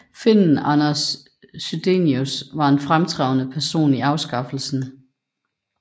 Finnen Anders Chydenius var en fremtrædende person i afskaffelsen